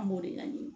An b'o de laɲini